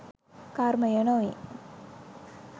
කර්මය නොවේ